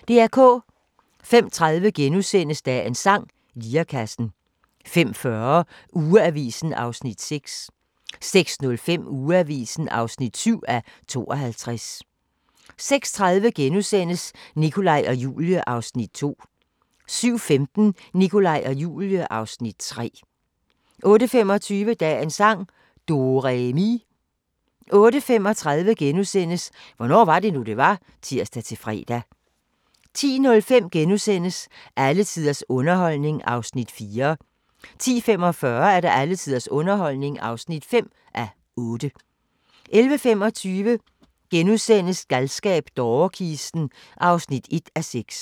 05:30: Dagens sang: Lirekassen * 05:40: Ugeavisen (6:52) 06:05: Ugeavisen (7:52) 06:30: Nikolaj og Julie (Afs. 2)* 07:15: Nikolaj og Julie (Afs. 3) 08:25: Dagens sang: Do-re-mi 08:35: Hvornår var det nu, det var? *(tir-fre) 10:05: Alle tiders underholdning (4:8)* 10:45: Alle tiders underholdning (5:8) 11:25: Galskab - dårekisten (1:6)*